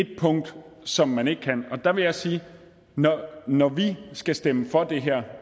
et punkt som man ikke kan der vil jeg sige at når vi skal stemme for det her